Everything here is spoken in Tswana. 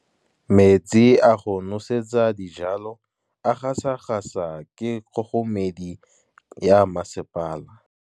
Metsi a go nosetsa dijalo a gasa gasa ke kgogomedi ya masepala.